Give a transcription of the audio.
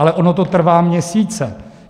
Ale ono to trvá měsíce.